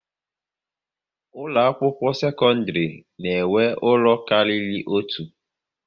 Ụlọ akwụkwọ sekondiri na enwe ụlọ kárírí otu